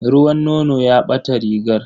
Ruwan nono ya ɓata rigarta.